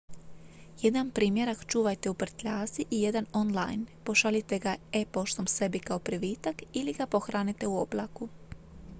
"jedan primjerak čuvajte u prtljazi i jedan on-line pošaljite ga e-poštom sebi kao privitak ili ga pohranite u "oblaku"".